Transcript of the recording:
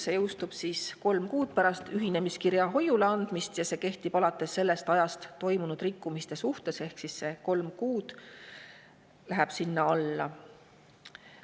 See jõustub kolm kuud pärast ühinemiskirja hoiule andmist ja kehtib alates ajast toime pandud rikkumiste suhtes, ehk siis see kolm kuud läheb sinna alla.